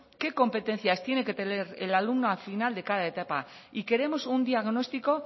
qué competencias tiene que tener el alumno al final de cada etapa y queremos un diagnóstico